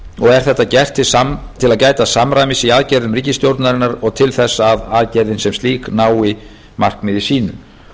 er þetta gert til að gæta samræmis í aðgerðum ríkisstjórnarinnar og til þess að aðgerðin sem slík nái markmiði